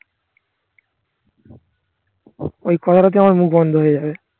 ওই কথাটা তে আমার মুখ বন্ধ হয়ে যাবে